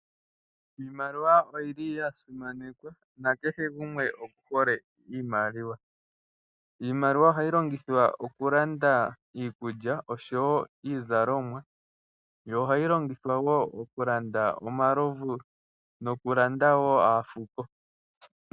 Iimaliwa oya simanekwa, na kehe gumwe oku hole iimaliwa. Iimaliwa oha yi longithe woku landa iikulya osho woo iizalomwa, yo oha yo oha yi longithwa okulanda omalovu, naafuko.